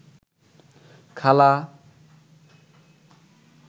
খালা